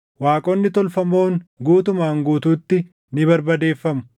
waaqonni tolfamoon guutumaan guutuutti ni barbadeeffamu.